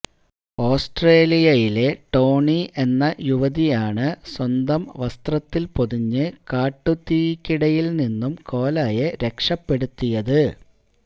ഓസ്ട്രേലിയയിലെ ടോണി എന്ന യുവതിയാണ് സ്വന്തം വസ്ത്രത്തില് പൊതിഞ്ഞ് കാട്ടുതീക്കിടയില് നിന്നും കോലയെ രക്ഷപ്പെടുത്തിയത്